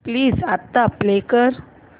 please आता play कर